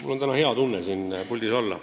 Mul on täna hea tunne siin puldis olla.